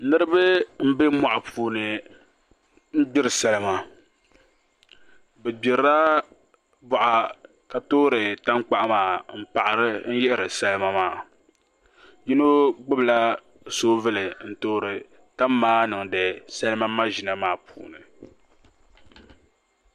Niraba n bɛ moɣu puuni n gbiri salima bi gbirila boɣa ka toori tankpaɣu maa n paɣari yihiri salima maa yino gbubila soobuli n toori tam maa niŋdi salima maʒina maa puuni